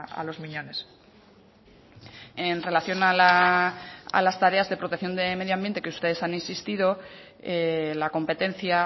a los miñones en relación a las tareas de protección de medioambiente que ustedes han insistido la competencia